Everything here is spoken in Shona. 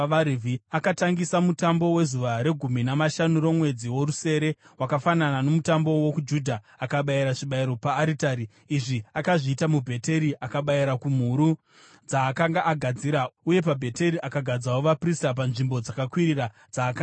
Akatangisa mutambo wezuva regumi namashanu romwedzi worusere, wakafanana nomutambo wokuJudha, akabayira zvibayiro paaritari. Izvi akazviita muBheteri, akabayira kumhuru dzaakanga agadzira, uye paBheteri akagadzawo vaprista panzvimbo dzakakwirira dzaakanga aita.